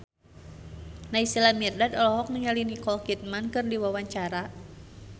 Naysila Mirdad olohok ningali Nicole Kidman keur diwawancara